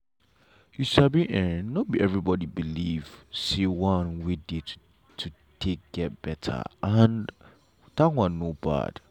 you sabi en no be everybody believe say one way dey to take get better and that one no bad.